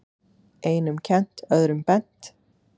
Einum kennt, öðrum bent.